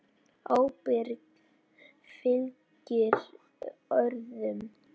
Ábyrgð fylgir orðum.